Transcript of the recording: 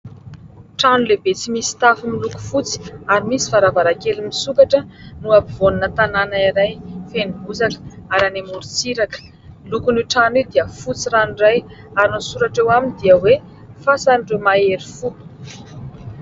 Trano lehibe tsy misy tafo miloko fotsy ary misy varavarankely misokatra no ampovoanina tanàna iray feno bozaka ary any amoron-tsiraka. Ny lokon'io trano io dia fotsy ranoray ary ny soratra eo aminy dia hoe "Fasan'ireo mahery fo".